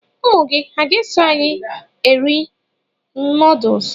Ụmụ gị ha ga-eso anyị eri nuduls?